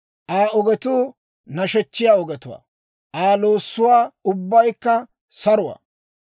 Aa ogetuu nashechchiyaa ogetuwaa; Aa loossuwaa ubbaykka saruwaa.